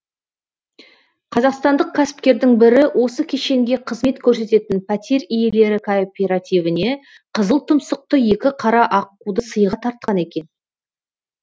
қазақстандық кәсіпкердің бірі осы кешенге қызмет көрсететін пәтер иелері кооперативіне қызыл тұмсықты екі қара аққуды сыйға тартқан екен